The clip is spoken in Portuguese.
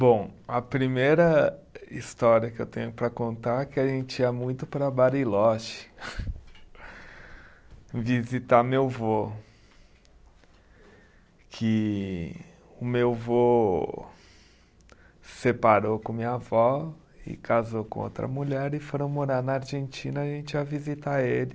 Bom, a primeira história que eu tenho para contar é que a gente ia muito para Bariloche visitar meu vô, que o meu vô separou com minha avó e casou com outra mulher e foram morar na Argentina e a gente ia visitar ele.